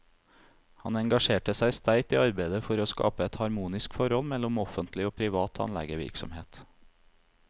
Han engasjerte seg sterkt i arbeidet for å skape et harmonisk forhold mellom offentlig og privat tannlegevirksomhet.